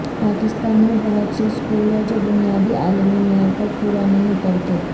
پاکستان میں بہت سے سکول ہیں جو بنیادی عالمی معیار پر پورا نہیں اترتے